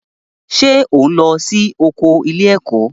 Ṣé ò ń lọ sí oko ilé-ẹ̀kọ́?